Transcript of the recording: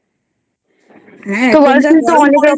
হ্যাঁ